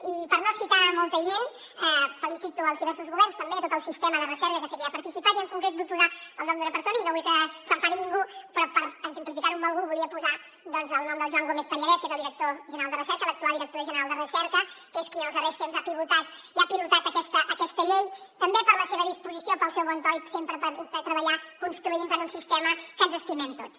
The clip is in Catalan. i per no citar molta gent felicito els diversos governs també a tot el sistema de recerca que sé que hi ha participat i en concret vull posar el nom d’una persona i no vull que s’enfadi ningú però per exemplificar ho amb algú volia posar doncs el nom del joan gómez pallarès que és el director general de recerca l’actual director general de recerca que és qui en els darrers temps ha pivotat i ha pilotat aquesta llei també per la seva disposició pel seu bon to i sempre per treballar construint per un sistema que ens estimem tots